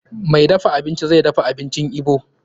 Mai dafa abincin zai dafa abincin Igbo.